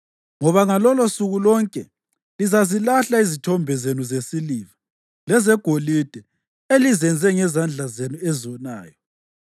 Ngoba ngalolosuku lonke lizazilahla izithombe zenu zesiliva lezegolide elizenze ngezandla zenu ezonayo.